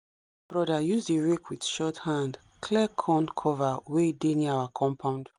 broda use the rake with short hand clear corn cover wey dey near our compound